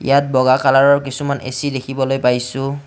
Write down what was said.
ইয়াত বগা কালাৰৰ কিছুমান এ_চি দেখিবলৈ পাইছোঁ।